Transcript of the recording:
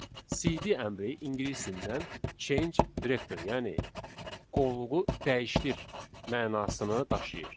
CD əmri ingilis dilindən change directory, yəni qovluğu dəyişdir mənasını daşıyır.